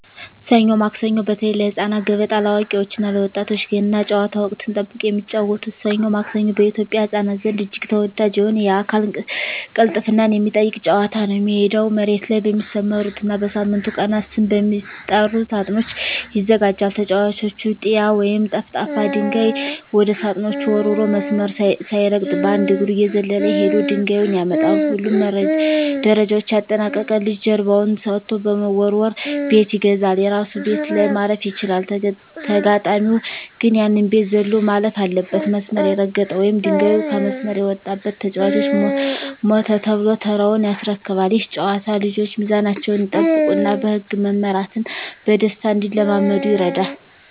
ሰኞ ማክሰኞ (በተለይ ለህፃናት)፣ገበጣ (ለአዋቂዎች እና ለወጣቶች)፣ ገና ጨዋታ (ወቅትን ጠብቆ የሚጫወቱት) "ሰኞ ማክሰኞ" በኢትዮጵያ ህፃናት ዘንድ እጅግ ተወዳጅ የሆነና የአካል ቅልጥፍናን የሚጠይቅ ጨዋታ ነው። ሜዳው መሬት ላይ በሚሰመሩና በሳምንቱ ቀናት ስም በሚጠሩ ሳጥኖች ይዘጋጃል። ተጫዋቹ "ጢያ" ወይም ጠፍጣፋ ድንጋይ ወደ ሳጥኖቹ ወርውሮ፣ መስመር ሳይረግጥ በአንድ እግሩ እየዘለለ ሄዶ ድንጋዩን ያመጣል። ሁሉንም ደረጃዎች ያጠናቀቀ ልጅ ጀርባውን ሰጥቶ በመወርወር "ቤት ይገዛል"። የራሱ ቤት ላይ ማረፍ ሲችል፣ ተጋጣሚው ግን ያንን ቤት ዘሎ ማለፍ አለበት። መስመር የረገጠ ወይም ድንጋዩ ከመስመር የወጣበት ተጫዋች "ሞተ" ተብሎ ተራውን ያስረክባል። ይህ ጨዋታ ልጆች ሚዛናቸውን እንዲጠብቁና በህግ መመራትን በደስታ እንዲለማመዱ ይረዳል።